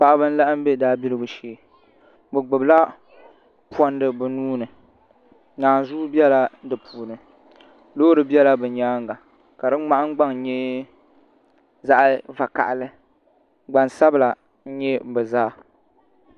Paɣaba n laɣam bɛ daabiligu shee bi gbubila pondi bi nuuni naanzuu biɛla di puuni loori biɛla bi nyaanga ka di nahangbaŋ nyɛ zaɣ vakaɣali gbansabila n nyɛ bi zaa